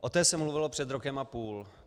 O té se mluvilo před rokem a půl.